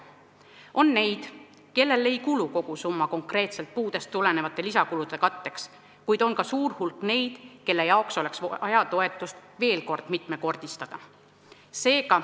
On neid, kellel ei kulu kogu summa konkreetselt puudest tulenevate lisakulude katteks, kuid on ka suur hulk neid, kelle toetust oleks vaja veel mitmekordistada.